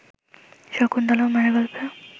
শকুন্তলাও মায়ের গল্পে